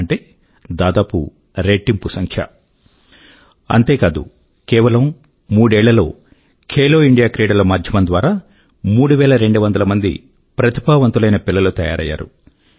అంటే దాదాపు రెట్టింపు సంఖ్య అంతేకాదు కేవలం మూడేళ్ళ లో ఖేలో ఇండియా క్రీడలు మాధ్యమం ద్వారా ముఫ్ఫై రెండు వందల ప్రతిభావంతులైన పిల్లలు తయారయ్యారు